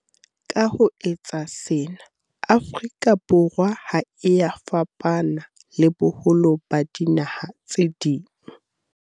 Ka ho etsa sena, Afrika Borwa ha e ya fapana le boholo ba dinaha tse ding.